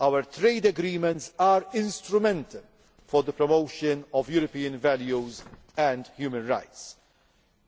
Our trade agreements are instrumental in the promotion of European values and human rights.